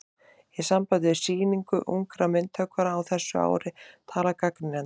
Í sambandi við Sýningu ungra myndhöggvara á þessu ári talar gagnrýnandinn